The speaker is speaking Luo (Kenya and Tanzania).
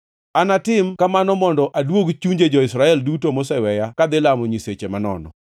Anatim kamano mondo aduog chunje jo-Israel duto moseweya kadhi lamo nyisechegi manono.’